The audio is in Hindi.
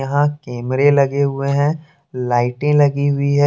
यहां कैमरे लगे हुए हैं लाइटें लगी हुई है।